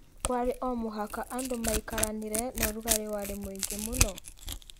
Kwarĩ o mũhaka andũ maikaranire na ũrugarĩ warĩ mũingĩ mũno.